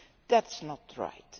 That is not right.